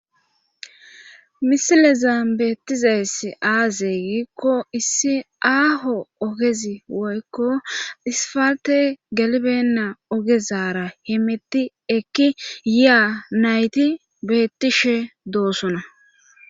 Misilezan beettizays aaze giikko issi aaho ogezi woykko isfalte galibenna ogezara hemetti ekki yiya nayti beettishe doossona.